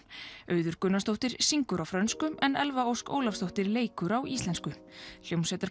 Auður Gunnarsdóttir syngur hlutverkið á frönsku en Elfa Ósk Ólafsdóttir leikur talmálskaflana á íslensku